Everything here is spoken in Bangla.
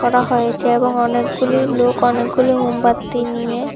করা হয়েছে এবং অনেকগুলি লোক অনেকগুলি মোমবাতি নিয়ে--